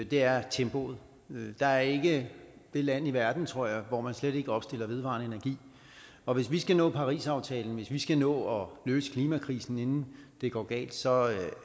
er tempoet der er ikke det land i verden tror jeg hvor man slet ikke opstiller vedvarende energi og hvis vi skal nå parisaftalens vi skal nå at løse klimakrisen inden det går galt så